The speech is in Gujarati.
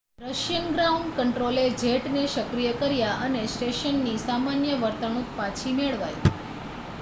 રશિયન ગ્રાઉન્ડ કન્ટ્રોલે જેટને સક્રિય કર્યા અને સ્ટેશનની સામાન્ય વર્તણૂક પાછી મેળવાઈ